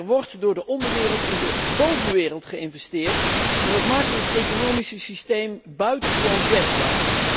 Er wordt door de onderwereld in de bovenwereld geïnvesteerd en dat maakt ons economische systeem buitengewoon kwetsbaar.